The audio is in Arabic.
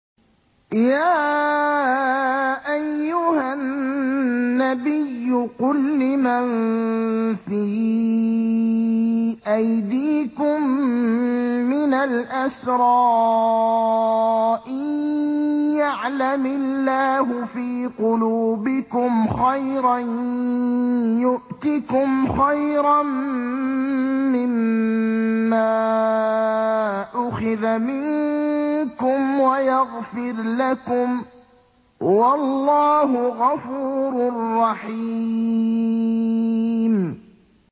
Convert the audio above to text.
يَا أَيُّهَا النَّبِيُّ قُل لِّمَن فِي أَيْدِيكُم مِّنَ الْأَسْرَىٰ إِن يَعْلَمِ اللَّهُ فِي قُلُوبِكُمْ خَيْرًا يُؤْتِكُمْ خَيْرًا مِّمَّا أُخِذَ مِنكُمْ وَيَغْفِرْ لَكُمْ ۗ وَاللَّهُ غَفُورٌ رَّحِيمٌ